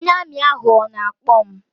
Ọnye Armi ahụ ọ na-akpọ m?